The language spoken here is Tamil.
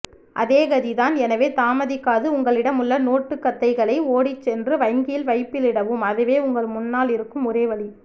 அதோ கதிதான் எனவே தாமதிக்காது உங்களிடமுள்ள நோட்டுக்கத்தைகளை ஓடிச்சென்று வங்கியில் வைப்பிலிடவும் அதுவே உங்கள் முன்னால் இருக்கும் ஒரே வழி